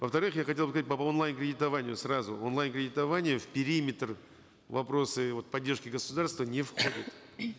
во вторых я хотел бы по онлайн кредитованию сразу онлайн кредитование в периметр вопроса вот поддержки государства не входит